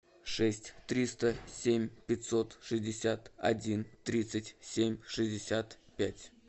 шесть триста семь пятьсот шестьдесят один тридцать семь шестьдесят пять